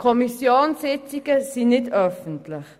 Kommissionssitzungen sind nicht öffentlich.